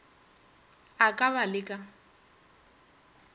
a ka ba le ka